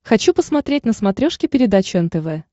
хочу посмотреть на смотрешке передачу нтв